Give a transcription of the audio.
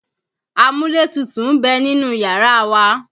Amúlétutù ń bẹ nínú yàrá wa.